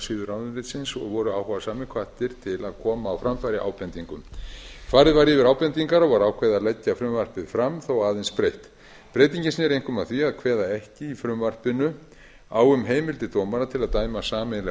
heimasíðu ráðuneytisins og voru áhugasamir hvattir til að koma á framfæri ábendingum farið var yfir ábendingar og var ákveðið að leggja frumvarpið fram þó aðeins breytt breytingin sneri einkum að því að kveða ekki í frumvarpinu á um heimildir dómara til að dæma sameiginlega